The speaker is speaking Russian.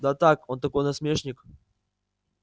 да так он такой насмешник